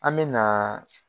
An me naa